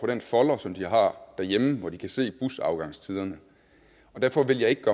den folder som de har derhjemme hvor de kan se busafgangstiderne derfor vil jeg ikke